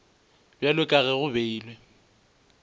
bjalo ka ge go beilwe